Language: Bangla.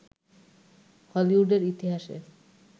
হলিউডের ইতিহাসে